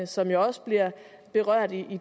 som jo også bliver berørt i